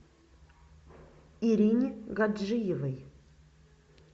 ирине гаджиевой